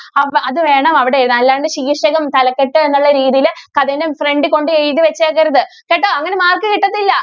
അപ്പൊ അത് വേണം അവിടെ എഴുതാൻ അല്ലാണ്ട് ശീർഷകം തലക്കെട്ട് എന്നുള്ള രീതിയിൽ കഥയുടെ front കൊണ്ടുപോയി എഴുതി വെച്ചേക്കരുത് കേട്ടോ അങ്ങനെ mark കിട്ടത്തില്ല.